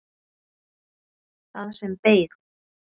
Það sem beið.